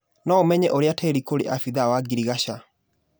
Noũmenye ũria tĩri kũrĩ abithaa wa girigaca.